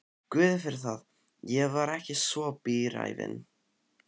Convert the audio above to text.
Guði fyrir það, ég var ekki svo bíræfin.